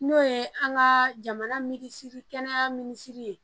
N'o ye an ka jamana misiri kɛnɛya minisiri ye